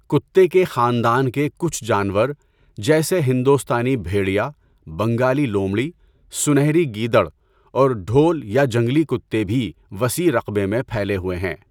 کتے کے خاندان کے کچھ جانور جیسے ہندوستانی بھیڑیا، بنگالی لومڑی، سنہری گیدڑ اور ڈھول یا جنگلی کتے بھی وسیع رقبے میں پھیلے ہوئے ہیں۔